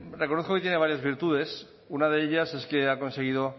reconozco que tiene varias virtudes una de ellas es que ha conseguido